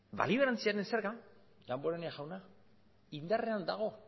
balio erantziaren zerga damborenea jauna indarrean dago